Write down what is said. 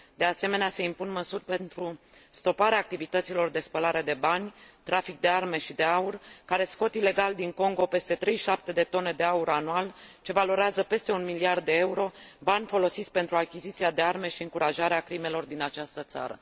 De asemenea, se impun măsuri pentru stoparea activităților de spălare de bani, trafic de arme și de aur, care scot ilegal din Congo peste 37 de tone de aur anual, ce valorează peste 1 miliard de euro, bani folosiți pentru achiziția de arme și încurajarea crimelor din această țară.